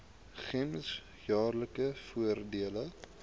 gems jaarlikse voordele